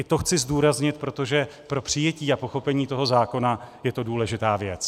I to chci zdůraznit, protože pro přijetí a pochopení toho zákona je to důležitá věc.